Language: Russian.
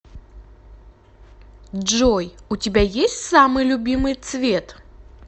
джой у тебя есть самый любимый цвет